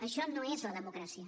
això no és la democràcia